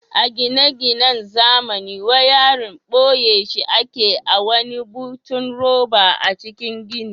A gine-ginan zamani wayarin boye shi ake a wani butun roba a cikin gini.